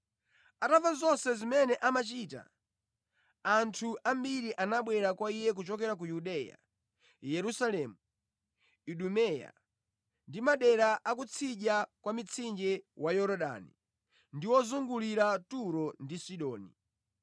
Atamva zonse zimene amachita, anthu ambiri anabwera kwa Iye kuchokera ku Yudeya, Yerusalemu, Idumeya ndi madera a ku tsidya kwa mtsinje wa Yorodani ndi ozungulira Turo ndi Sidoni.